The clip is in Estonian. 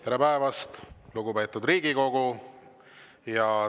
Tere päevast, lugupeetud Riigikogu!